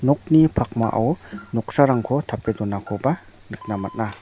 nokni pakmao noksarangko tape donakoba nikna man·a.